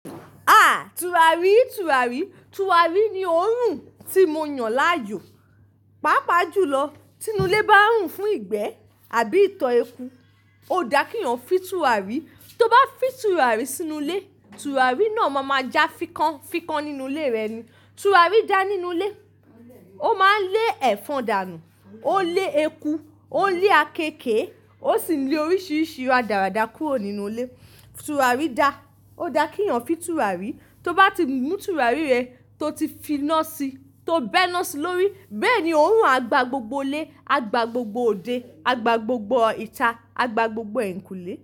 A! Turarí, turarí. Turarí ni òórùn tí mo yàn láàyò. Páapaá jùlọ, ti inú ilé bá n rùn fún ìgbẹ́ àbí ìtọ́ eku, ó dá kí eeyàn fin turarí. Tó bá fin turarí sínú ilé, turarí náà máa ma já fikán, fikán nínú ilé rẹ ni. Turarí daa nínú ilé. Ó máa n lé ẹ̀fọn dànù, ó n lé eku, ó n lé akekèè, ó sì n lé oríṣiríṣi radàradà kúrò nínú ilé. Turarí da. Ó dá kí eeyàn fin turarí. Tó bá ti mú turarí rẹ tó ti finá sí, tó bẹ́ ná sí lórí, bẹ́ẹ̀ ni óorùn à gbà gbogbo ilé, à gbà gbogbo òde, à gbà gbogbo ìta, à gbà gbogbo ẹ̀yinkúlé.